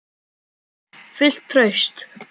Fullt traust?